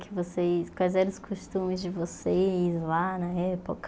O que vocês quais eram os costumes de vocês lá na época?